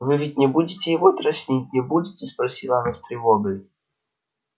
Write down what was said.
вы ведь не будете его дразнить не будете спросила она с тревогой